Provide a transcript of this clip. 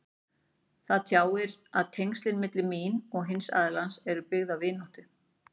Það tjáir að tengslin milli mín og hins aðilans eru byggð á vináttu.